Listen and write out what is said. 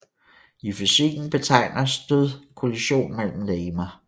I fysikken betegner stød kollision mellem legemer